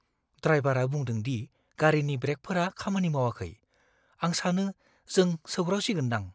ड्राइबारा बुंदों दि गारिनि ब्रेकफोरा खामानि मावाखै। आं सानो जों सौग्रावसिगोनदां!